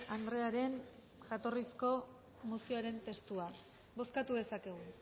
andrearen jatorrizko mozioaren testua bozkatu dezakegu